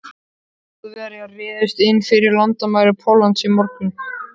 Þjóðverjar réðust inn fyrir landamæri Póllands í morgun.